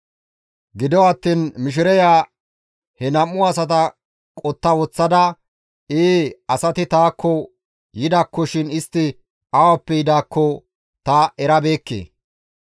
Gido attiin mishireya he nam7u asata qotta woththada, «Ee asati taakko yidaakkoshin istti awappe yidaakko ta erabeekke.